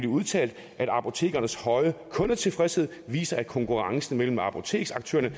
udtalt at apotekernes høje kundetilfredshed viser at konkurrencen mellem apoteksaktørerne